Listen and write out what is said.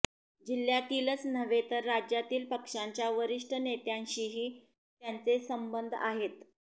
जिल्ह्यातीलच नव्हे तर राज्यातील पक्षाच्या वरिष्ठ नेत्यांशीही त्यांचे संबंध आहेत